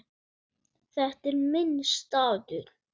Þetta er minn staður.